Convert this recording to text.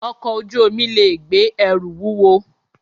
Ọkọ̀ ojú omi lè gbé ẹrù wúwo